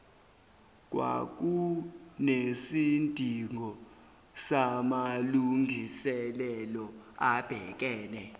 kwakunesidingo samalungiselelo abhekene